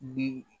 Bi